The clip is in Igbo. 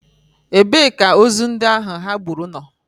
Ebee ka ozu ndị ha gburu nọ?